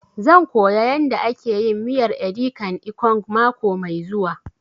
Zan koya yanda ake miyar edi kan ikong mako mai zuwa